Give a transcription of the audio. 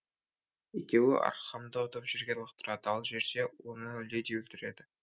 екеуі аркхамды ұтып жерге лақтырады ал жерде оны леди өлтіреді